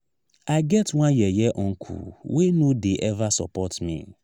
i get one yeye uncle wey no dey eva support me.